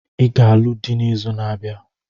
I ga-alụ dị n'izu na-abịa.